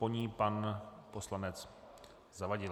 Po ní pan poslanec Zavadil.